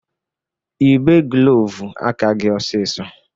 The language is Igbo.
Yịbe glovu aka gị ọsisọ!